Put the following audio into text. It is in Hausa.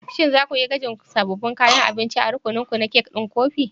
Shin za ku yi gwajin da sabbin kayan abinci a rukuninku na kek ɗin kofi?